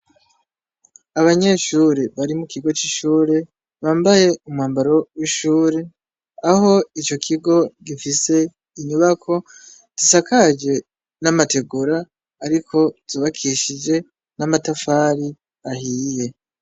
Abanyeshure bari mu kigo c'ishure bambaye umwambaro w'ishure, aho ico kigo gifise inyubako zisakaje n'amategura ariko zubakishije n'amatafari ahiye.